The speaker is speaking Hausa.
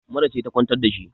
mura ce ta kwantar da shi